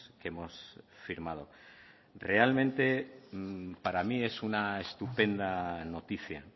que hemos firmado realmente para mí es una estupenda noticia